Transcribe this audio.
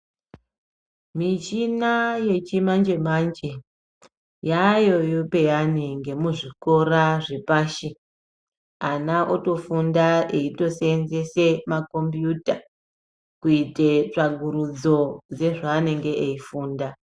Michina yechimanje manje yaayo peyani ngemuzvikora zvepashi. Ana otofunda eiseenzese makombuyuta kuite tsvakurudzo yezveanenge eifunda.